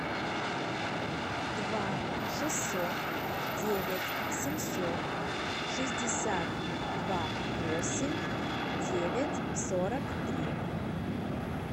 два шестьсот девять семьсот шестьдесят два восемь девять сорок три